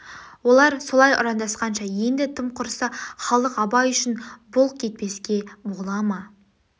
олар ссшай ұрандасқанда енді тым құрыса халық абай үшін бұлк етпеске бола ма